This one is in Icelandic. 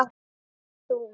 Far þú.